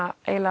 var